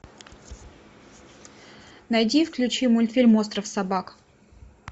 найди и включи мультфильм остров собак